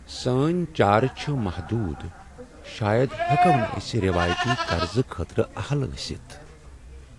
سٲنۍ چارٕ چھ محدود۔ شاید ہیٚکو نہٕ أسۍ روٲیتی قرضہٕ خٲطرٕ اہل أستھ۔